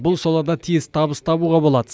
бұл салада тез табыс табуға болады